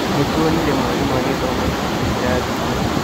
Nĩtuonire mwarimũ agĩthoma ibuku kĩrathi-inĩ